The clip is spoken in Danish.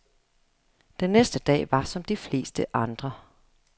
Den næste dag var som de fleste andre.